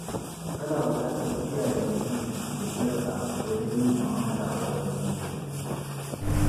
Ana bukatar kiyaye mutunci da iyaka wajen yin mu'amala a wurin aiki.